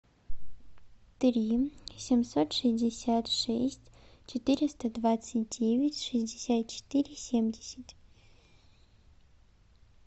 три семьсот шестьдесят шесть четыреста двадцать девять шестьдесят четыре семьдесят